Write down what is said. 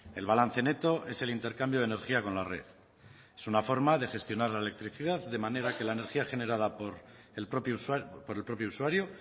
el balance neto es el intercambio de energía con la red es una forma de gestionar la electricidad de manera que la energía generada por el propio usuario